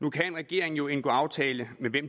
nu kan en regering jo indgå aftale med hvem